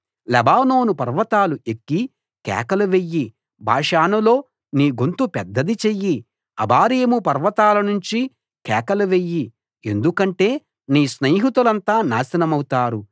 Lebanon పర్వతాలు ఎక్కి కేకలు వెయ్యి బాషానులో నీ గొంతు పెద్దది చెయ్యి అబారీము పర్వతాలనుంచి కేకలు వెయ్యి ఎందుకంటే నీ స్నేహితులంతా నాశనమవుతారు